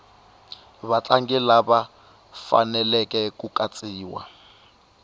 vatlangi lava faneleke ku katsiwa